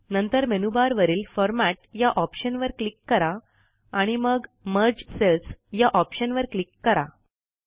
नंतर मेनूबारवरील फॉर्मॅट या ऑप्शनवर क्लिक करा आणि मग मर्ज सेल्स या ऑप्शनवर क्लिक करा